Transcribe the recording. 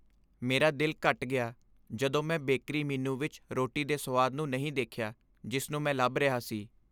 ਮੇਰਾ ਦਿਲ ਘਟ ਗਿਆ ਜਦੋਂ ਮੈਂ ਬੇਕਰੀ ਮੀਨੂ ਵਿੱਚ ਰੋਟੀ ਦੇ ਸੁਆਦ ਨੂੰ ਨਹੀਂ ਦੇਖਿਆ ਜਿਸ ਨੂੰ ਮੈਂ ਲੱਭ ਰਿਹਾ ਸੀ।